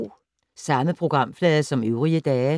Samme programflade som øvrige dage